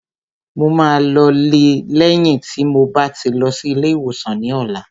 Mo máa lọ lé lẹ́yìn tí mo bá ti lọ sí ilé ìwòsàn ní ọ̀la